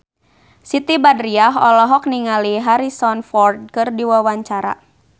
Siti Badriah olohok ningali Harrison Ford keur diwawancara